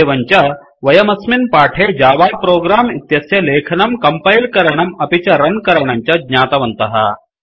एवं च वयमस्मिन् पाठे जावा प्रोग्राम इत्यस्य लेखनं कंपैलकरणम् अपि च रन करणं च ज्ञातवन्तः